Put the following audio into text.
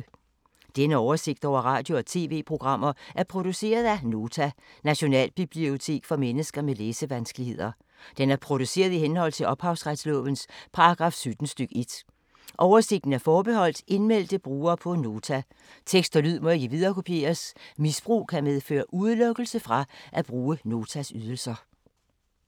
Denne oversigt over radio og TV-programmer er produceret af Nota, Nationalbibliotek for mennesker med læsevanskeligheder. Den er produceret i henhold til ophavsretslovens paragraf 17 stk. 1. Oversigten er forbeholdt indmeldte brugere på Nota. Tekst og lyd må ikke viderekopieres. Misbrug kan medføre udelukkelse fra at bruge Notas ydelser.